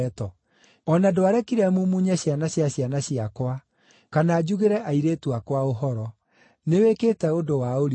O na ndwarekire mumunye ciana cia ciana ciakwa, kana njugĩre airĩtu akwa ũhoro. Nĩwĩkĩte ũndũ wa ũrimũ.